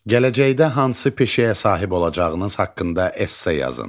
Gələcəkdə hansı peşəyə sahib olacağınız haqqında esse yazın.